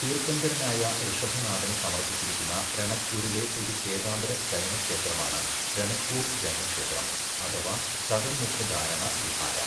തീർത്ഥങ്കരനായ ഋഷഭനാഥന് സമർപ്പിച്ചിരിക്കുന്ന രണക്പൂരിലെ ഒരു ശ്വേതാംബര ജൈനക്ഷേത്രമാണ് രണക്പൂർ ജൈനക്ഷേത്രം അഥവാ ചതുർമുഖ ധാരണ വിഹാര.